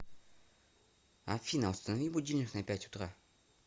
афина установи будильник на пять утра